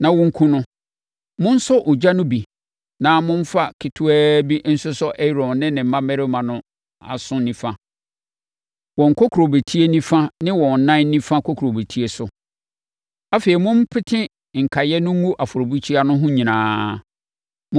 na wɔnkum no. Monsɔ mogya no bi na momfa ketewaa bi nsosɔ Aaron ne ne mmammarima no aso nifa, wɔn kokurobetie nifa ne wɔn nan nifa kokurobetie so. Afei mompete nkaeɛ no ngu afɔrebukyia no ho nyinaa.